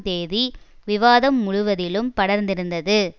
தேதி விவாதம் முழுவதிலும் படர்ந்திருந்தது